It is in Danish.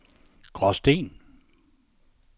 Gråsten